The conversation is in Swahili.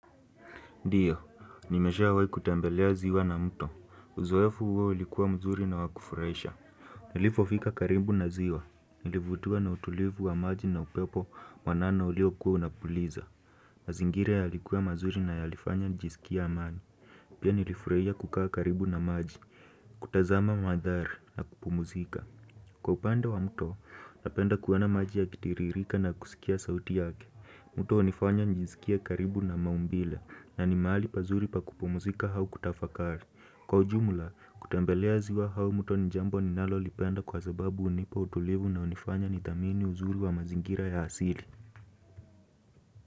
Ndiyo, nimeshawai kutembelea ziwa na mto. Uzoefu huo ulikuwa mzuri na wa kufurahisha. Nilipofika karibu na ziwa. Nilivutiwa na utulivu wa maji na upepo mwanana uliokuwa unafuliza. Mazingira yalikuwa mazuri na yalifanya njisikie amani. Pia nilifurahia kukaa karibu na maji. Kutazama mandhari na kupumuzika. Kwa upande wa mto, napenda kuona maji yakitiririka na kusikia sauti yake. Mto hunifanya nijisikie karibu na maumbile na ni mahali pazuri pa kupumzika au kutafakari. Kwa ujumla, kutembelea ziwa au mto ni jambo ninalolipenda kwa sababu hunipa utulivu na hunifanya nithamini uzuri wa mazingira ya asili.